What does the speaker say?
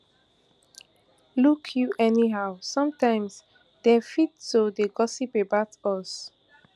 look you anyhow sometimes dem fit to dey gossip about us